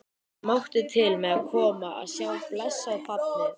Ég mátti til með að koma að sjá blessað barnið.